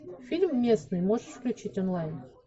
фильм местный можешь включить онлайн